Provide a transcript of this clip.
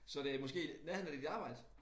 Så det måske i nærheden af dit arbejde